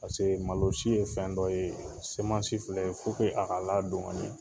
Paseke malo si ye fɛn dɔ ye filɛ a ka ladon ka ɲɛ.